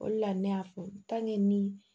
O de la ne y'a fɔ ni